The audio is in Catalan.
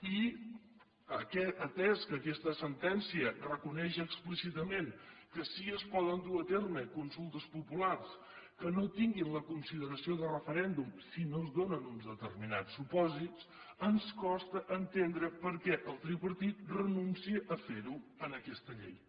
i atès que aquesta sentència reconeix explícitament que sí es poden dur a terme consultes populars que no tinguin la consideració de referèndum si no es donen uns determinats supòsits ens costa entendre perquè el tripartit renuncia a fer ho en aquesta llei